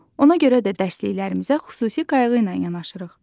Ona görə də dərsliklərimizə xüsusi qayğı ilə yanaşırıq.